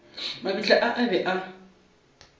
mabitla a a be a